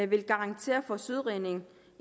vil garantere for søredning